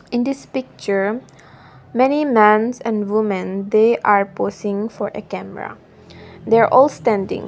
in this picture many mans and women they are posing for a camera they're all standing.